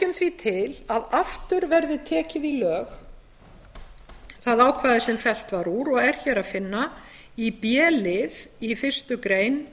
leggjum því til að aftur verði tekið í lög það ákvæði sem fellt var úr og er hér að finna í b lið í fyrstu grein